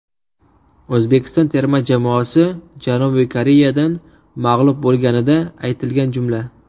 O‘zbekiston terma jamoasi Janubiy Koreyadan mag‘lub bo‘lganida aytilgan jumla.